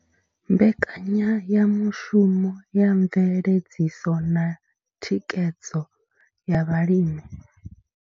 Mbekanyayamushumo ya mveledziso na thikhedzo ya vhalimi.